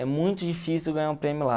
É muito difícil ganhar um prêmio lá.